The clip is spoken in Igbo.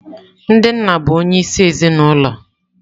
Ndị nna bụ onyeisi ezinụlọ.